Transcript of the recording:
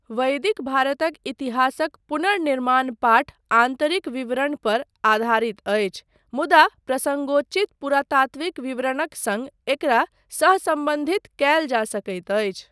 वैदिक भारतक इतिहासक पुनर्निर्माण पाठ आन्तरिक विवरण पर आधारित अछि मुदा प्रसङ्गोचित पुरातात्विक विवरणक सङ्ग एकरा सहसम्बन्धित कयल जा सकैत अछि।